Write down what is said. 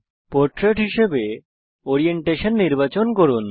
portrait হিসাবে orientation নির্বাচন করুন